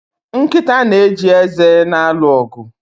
Nkịta na-eji eze na-alụ ọgụ